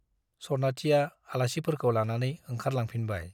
सनाथिया आलासिफोरखौ लानानै ओंखारलांफिनबाय।